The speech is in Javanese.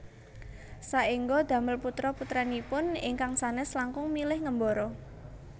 Saéngga damel putra putranipun ingkang sanes langkung milih ngembara